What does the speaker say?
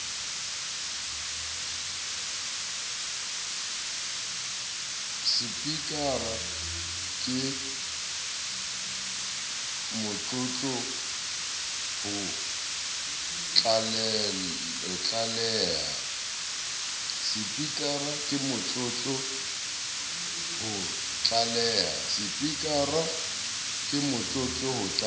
sepikara ke motlotlo ho tlaleha